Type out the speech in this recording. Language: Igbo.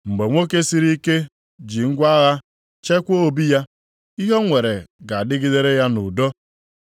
“Mgbe nwoke siri ike ji ngwa agha chekwa obi ya, ihe o nwere ga-adịgidere ya nʼudo.